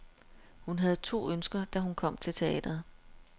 Hun havde to ønsker, da hun kom til teatret.